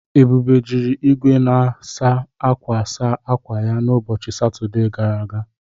Ebube jiri igwe na-asa akwa saa akwa ya n'ụbọchị Satọde gara aga.